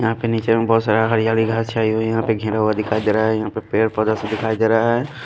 यहाँ पे नीचे में बहुत सारा हरियाली घास छाई हुई यहाँ पे घिरा हुआ दिखाई दे रहा है यहाँ पे पेड़ पौधा से दिखाई दे रहा है।